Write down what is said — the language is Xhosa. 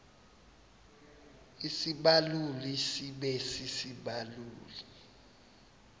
isibaluli sibe sisibaluli